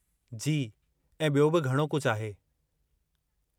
जी, ऐं बि॒यो बि घणो कुझु आहे।